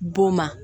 B'o ma